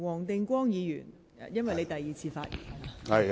黃定光議員，這是你第二次發言。